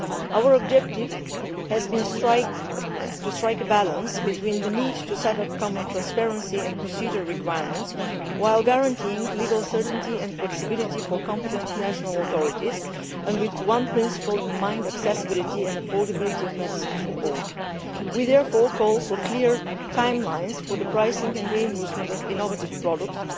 Our objective has been to strike a balance between the need to set up common transparency and procedural requirements while guaranteeing legal certainty and flexibility for competent national authorities with one principle in mind accessibility and affordability of medicines for all. We therefore call for clear timelines for the pricing and reimbursement of innovative products,